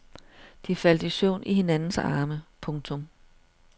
De faldt i søvn i hinandens arme. punktum